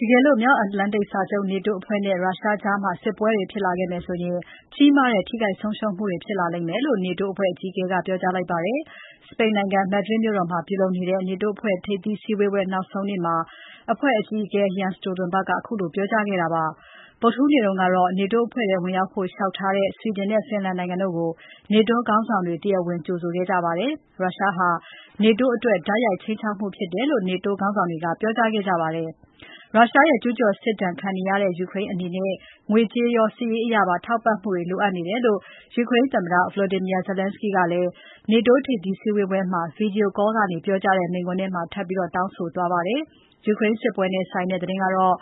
တကယ်လို့ မြောက်အတ္တလန်တိတ်စာချုပ် NATO အဖွဲ့နဲ့ ရုရှားကြား စစ်ပွဲတွေဖြစ်လာခဲ့မယ်ဆိုရင် ကြီးမားတဲ့ ထိခိုက် ဆုံးရှုံးမှုတွေ ဖြစ်လာမယ်လို့ NATO အဖွဲ့အကြီးအကဲက ပြောကြားလိုက်ပါတယ်။ စပိန်နိုင်ငံ Madrid မြို့တော်မှာပြုလုပ်နေတဲ့ NATO အဖွဲ့ ထိပ်သီးစည်းဝေးပွဲ နောက်ဆုံးနေ့မှာ အဖွဲ့ အကြီးအကဲ Jens Stotenberg ကပြောကြားခဲ့တာဖြစ်ပါတယ်။ ဗုဒ္ဓဟူးနေ့ကတော့ NATO အဖွဲ့ထဲဝင်ရောက်ဖို့လျှောက်ထားတဲ့ Sweden နဲ့ Finland နိုင်ငံတို့ကို NATO ခေါင်းဆောင်တွေ တရားဝင်ကြိုဆိုခဲ့ကြပါတယ်။ ရုရှားဟာ NATO အတွက် တိုက်ရိုက်ခြိမ်းခြောက်မှုဖြစ်တယ်လို့ NATO ခေါင်းဆောင်တွေက ပြောကြားခဲ့ပါတယ်။ ရုရှားရဲ့ ကျူးကျော်စစ်ဒဏ်ခံနေရတဲ့ ယူကရိန်းအနေနဲ့ ငွေကြေးရော စစ်ရေးအရပါ ထောက်ပံ့မှုတွေ လိုအပ်နေတယ်လို့ ယူကရိန်းသမ္မတ Volodymyr Zelenskyy က NATO ထိပ်သီးစည်းဝေးပွဲမှာ Video call ကနေ ပြောကြားတဲ့ မိန့်ခွန်းထဲမှာ ထပ်ပြီး တောင်းဆိုသွားပါတယ်။ ယူကရိန်းစစ်ပွဲနဲ့ဆိုင်တဲ့ သတင်းကတော့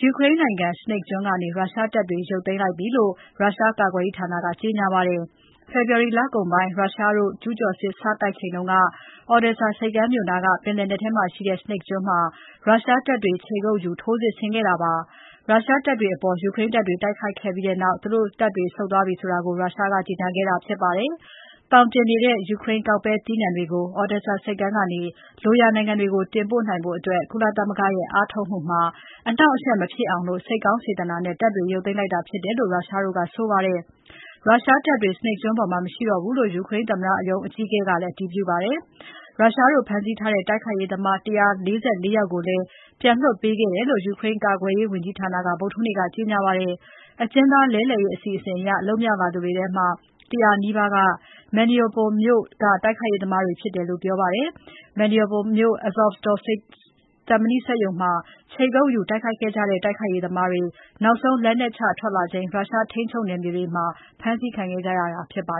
ယူကရိန်းနိုင်ငံ Snake ကျွန်းကနေ ရုရှားတပ်တွေ ရုတ်သိမ်းခဲ့ပြီလို့ ရုရှားကာကွယ်ရေးဌာနက ကြေညာပါတယ်။ ဖေဖော်ဝါရီလကုန်ပိုင်း ရုရှားတို့ ကျူးကျော်စစ် စတိုက်ချိန်က Odesa ဆိပ်ကမ်းမြို့နားက ပင်လယ်နက်ထဲမှာရှိတဲ့ Snake ကျွန်းမှာ ရုရှားတပ်တွေ ခြေကုပ်ယူတိုက်ခိုက်ခဲ့တာဖြစ်ပါတယ်။ ရုရှားတပ်တွေအပေါ် ယူကရိန်းတပ်တွေ တိုက်ခိုက်ခဲ့ပြီးနောက်မှာ သူတို့တပ်တွေ ဆုတ်သွားပြီလို့ ရုရှားက ကြေညာတာဖြစ်ပါတယ်။ သောင်တင်နေတဲ့ ယူကရိန်း ကောက်ပဲ သီးနှံတွေကို Odesa ဆိပ်ကမ်းမြို့ကနေ လိုရာနိုင်ငံတွေတင်ပို့နိုင်ဖို့ ကုလသမဂ္ဂရဲ့ အားထုတ်မှုမှာ အနှောင့်အယှက်မဖြစ်အောင် စိတ်ကောင် စေတနာနဲ့ တပ်တွေရုပ်သိမ်းလိုက်တာဖြစ်တယ်လို့ ရုရှားတို့က ဆိုပါတယ်။ ရုရှားတပ်တွေ Snake ကျွန်းပေါ်မှာ မရှိတော့ဘူးလို့ ယူကရိန်းသမ္မတရုံး အကြီးအကဲက အတည်ပြုပါတယ်။ ရုရှားတို့ဖမ်းဆီးထားတဲ့ တိုက်ခိုက်ရေးသမား ၁၄၄ ယောက်ကိုလည်း ရုရှားတို့ပြန်လွှတ်ပေးခဲ့တယ်လို့ ယူကရိန်းကာကွယ်ရေးဝန်ကြီးဌာနက ဗုဒ္ဓဟူးနေ့က ကြေညာပါတယ်။ အကျဉ်းသားလဲလှယ်ရေးအစီအစဉ်အရ လွတ်မြောက်လာသူတွေထဲမှာ ၁၀၀ နီးပါးက Mariupol မြို့က တိုက်ခိုက်ရေးသမားတွေဖြစ်ကြတယ်လို့ ပြောပါတယ်။ Mariupol မြို့က Azovstal သံမဏိစက်ရုံမှာ ခြေကုပ်ယူတိုက်ခိုက်ခဲ့ကြတဲ့ တိုက်ခိုက်ရေးသမားတွေကို နောက်ဆုံး လက်နက်ချထွက်လာချိန် ရုရှားထိန်းချုပ်နယ်မြေတွေမှာ ဖမ်းဆီးခံခဲ့ကြရတာဖြစ်ပါ